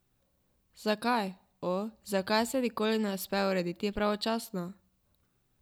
Zakaj, o, zakaj se nikoli ne uspe urediti pravočasno?